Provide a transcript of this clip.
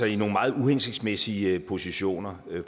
i nogle meget uhensigtsmæssige positioner